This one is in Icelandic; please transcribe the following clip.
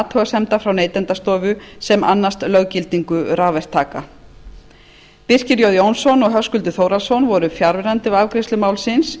athugasemda frá neytendastofu sem annast löggildingu rafverktaka birkir j jónsson og höskuldur þórhallsson voru fjarverandi við afgreiðslu málsins